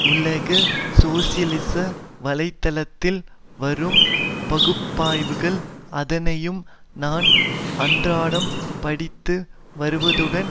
உலக சோசியலிச வலைத்தளத்தில் வரும் பகுப்பாய்வுகள் அனைத்தையும் நான் அன்றாடம் படித்து வருவதுடன்